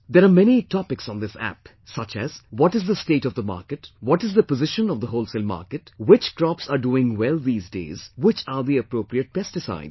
There are many topics on this App, such as what is the state of the market, what is the position of the wholesale market, which crops are doing well these days, which are the appropriate pesticides